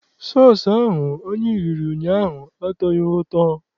Sọọsụ ahụ anyị riri ụnyaahụ atọghị ụtọ.